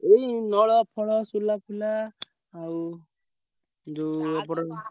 ଏଇ ନଳ ଫଳ, ସୋଲା ଫୋଲା ଆଉ ଯୋଉ ।